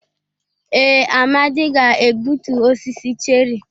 Ee, Amadi ga-egbutu osisi cherrị.